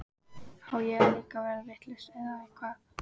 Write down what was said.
Á ég þá líka að verða vitlaus eða hvað?